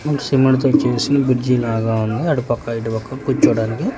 Cement తో చేసిన bridge లాగా ఉంది అటుపక్క ఇటుపక్క కూర్చోడానికి.